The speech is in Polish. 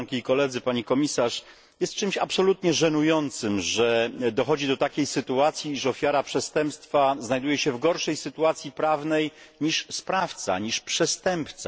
Pani Komisarz! Jest czymś absolutnie żenującym, że dochodzi do takiej sytuacji, że ofiara przestępstwa znajduje się w gorszej sytuacji prawnej niż sprawca, niż przestępca.